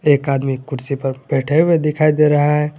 एक आदमी कुर्सी पर बैठे हुए दिखाई दे रहा है।